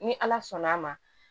Ni ala sɔnn'a ma